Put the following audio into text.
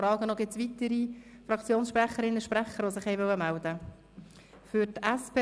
Ich frage zuerst: Gibt es weitere Fraktionssprecherinnen oder -sprecher, die sich äussern wollen?